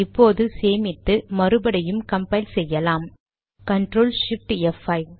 இப்போது சேமித்து மறுபடியும் கம்பைல் செய்யலாம் ctrl shift ப்5